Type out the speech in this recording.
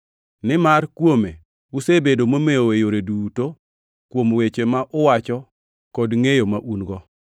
Nimar kuome usebedo momew e yore duto kuom weche ma uwacho kod ngʼeyo ma un-go,